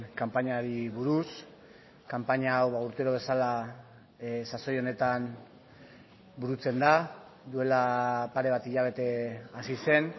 kanpainari buruz kanpaina hau urtero bezala sasoi honetan burutzen da duela pare bat hilabete hasi zen